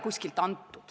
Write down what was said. Kristen Michal, palun!